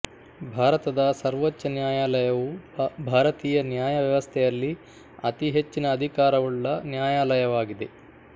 ಭಾರತದ ಸರ್ವೋಚ್ಛ ನ್ಯಾಯಾಲಯವು ಭಾರತೀಯ ನ್ಯಾಯ ವ್ಯವಸ್ಥೆಯಲ್ಲಿ ಅತೀ ಹೆಚ್ಚಿನ ಅಧಿಕಾರವುಳ್ಳ ನ್ಯಾಯಾಲಯವಾಗಿದೆ